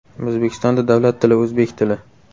O‘zbekistonda davlat tili o‘zbek tili.